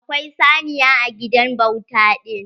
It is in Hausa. Akwai saniya a gidan bauta ɗin.